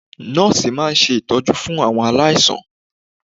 Nọ́ọ̀sì máa ń ṣe ìtọ́jú fún àwọn aláìsàn